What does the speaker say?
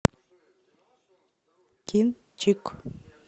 кинчик